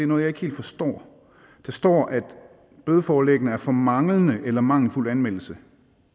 noget jeg ikke helt forstår at der står at bødeforlæggene er for manglende eller mangelfuld anmeldelse